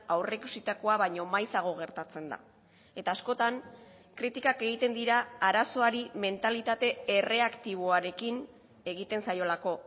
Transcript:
aurreikusitakoa baino maizago gertatzen da eta askotan kritikak egiten dira arazoari mentalitate erreaktiboarekin egiten zaiolako